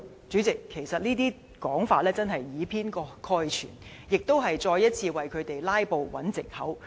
主席，其實這些說法是以偏概全，只是再一次為他們"拉布"找藉口。